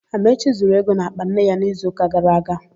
Amaechi zuru ego n'àkpà nne ya n'izuụka gara aga.